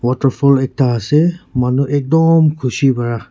waterfall ekta ase manu ekdom khushi para--